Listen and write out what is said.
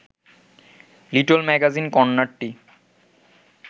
little magazine কর্নারটি